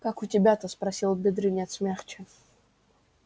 как у тебя-то спросил бедренец мягче